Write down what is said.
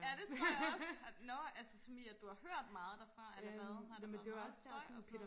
ja det tror jeg også nå altså som i at du har hørt meget derfra eller hvad har der været meget støj og sådan noget